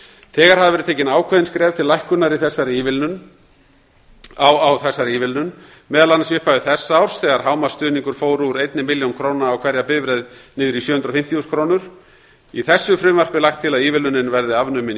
þegar hafa verið tekin ákveðin skref til lækkunar á þessari ívilnun meðal annars í upphafi þessa árs þegar hámarksstuðningur fór úr einni milljón króna á hverja bifreið niður í sjö hundruð og fimmtíu þúsund krónur í þessu frumvarpi er lagt til að ívilnunin verði afnumin í